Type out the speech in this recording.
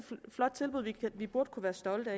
flot tilbud vi burde kunne være stolte af